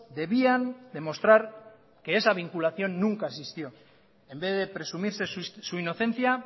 debían demostrar que esa vinculación nunca existió en vez de presumirse su inocencia